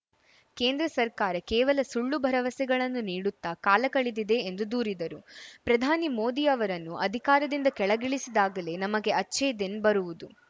ಕೇಂದ್ರ ಸರ್ಕಾರ ಕೇವಲ ಸುಳ್ಳು ಭರವಸೆಗಳನ್ನು ನೀಡುತ್ತಾ ಕಾಲ ಕಳೆದಿದೆ ಎಂದು ದೂರಿದರು ಪ್ರಧಾನಿ ಮೋದಿ ಅವರನ್ನು ಅಧಿಕಾರದಿಂದ ಕೆಳಗಿಳಿಸಿದಾಗಲೇ ನಮಗೆ ಅಚ್ಛೆ ದಿನ್‌ ಬರುವುದು